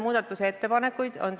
Küsimused ja ettepanekud on alati oodatud.